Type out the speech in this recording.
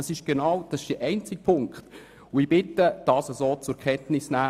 Das ist der einzige Punkt, und ich bitte Sie, dies so zur Kenntnis zu nehmen.